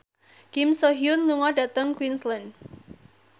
Kim So Hyun lunga dhateng Queensland